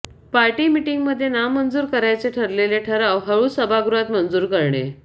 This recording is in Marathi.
पार्टी मिटिंगमध्ये नामंजूर करायचे ठरलेले ठराव हळूच सभागृहात मंजूर करणे